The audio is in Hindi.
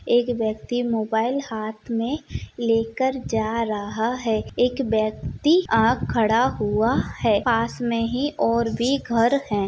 एक व्यक्ति मोबाइल हाथ में लेकर जा रहा है एक व्यक्ति आ खड़ा हुआ है पास में ही और भी घर है।